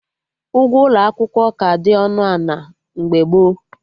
Ụgwọ ụlọ akwụkwọ ka dị ọnụ ana mgbe gboo